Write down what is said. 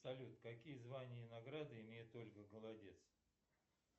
салют какие звания и награды имеет ольга голодец